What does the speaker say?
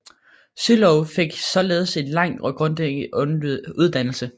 Sylow fik således en lang og grundig uddannelse